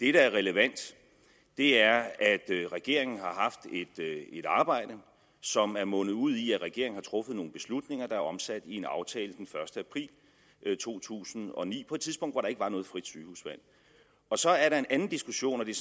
er relevant er at regeringen har haft et arbejde som er mundet ud i at regeringen har truffet nogle beslutninger der er omsat i en aftale den første april to tusind og ni på et tidspunkt hvor der ikke var noget frit sygehusvalg og så er der en anden diskussion og det